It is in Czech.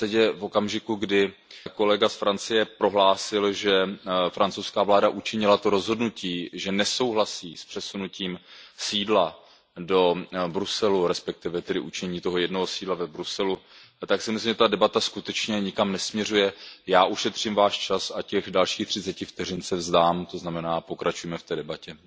V zásadě v okamžiku, kdy kolega z Francie prohlásil, že francouzská vláda učinila to rozhodnutí, že nesouhlasí s přesunutím sídla do Bruselu, respektive tedy určení toho jednoho sídla v Bruselu, tak si myslím, že ta debata skutečně nikam nesměřuje. Já ušetřím Váš čas a těch dalších třiceti vteřin se vzdám, to znamená, pokračujme v té debatě.